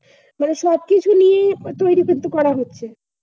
মানে সব কিছু নিয়েই তৈরি কিন্তু করা হচ্ছে।